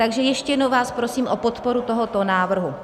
Takže ještě jednou vás prosím o podporu tohoto návrhu.